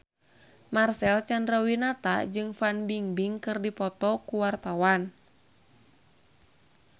Marcel Chandrawinata jeung Fan Bingbing keur dipoto ku wartawan